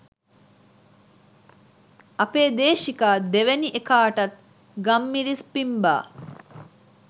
අපේ දේශිකා දෙවැනි එකාටත් ගම්මිරිස් පිම්ඹා